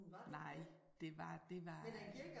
Nej det var det var